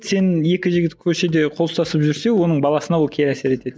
сен екі жігіт көшеде қол ұстасып жүрсе оның баласына ол кері әсер етеді